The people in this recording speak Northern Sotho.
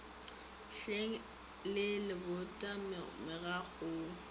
hleng le lebota mokgako wo